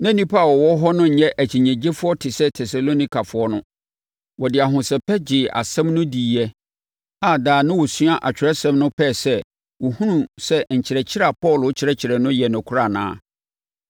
Na nnipa a wɔwɔ hɔ no nyɛ akyinnyegyefoɔ te sɛ Tesalonikafoɔ no. Wɔde ahosɛpɛ gyee asɛm no diiɛ a daa na wɔsua Atwerɛsɛm no pɛɛ sɛ wɔhunu sɛ nkyerɛkyerɛ a Paulo kyerɛkyerɛ no yɛ nokorɛ anaa.